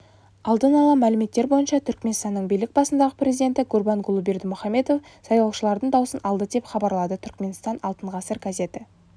алдын ала мәліметтер бойынша түркменстанның билік басындағы президенті гурбангулы бердымухамедов сайлаушылардың даусын алды деп хабарлады түркменстан алтын ғасыр газеті